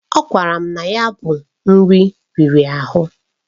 Ọ gwara m na ya bụ nri riri ahụ.